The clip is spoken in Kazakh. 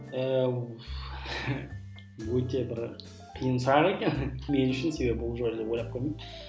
ііі өте бір қиын сұрақ екен мен үшін себебі бұл жайлы ойлап